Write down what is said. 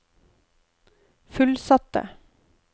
fullsatte